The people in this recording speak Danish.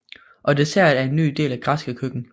Og dessert er en ny del af det græske køkken